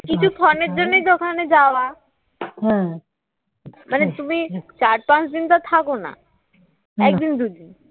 কিছুক্ষণের জন্য সেখানে যাওয়া মানে তুমি চার পাঁচ দিন থাকো না একদিন দুইদিন